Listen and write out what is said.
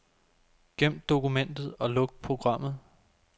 Gem dokumentet og luk programmet.